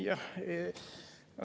Jah.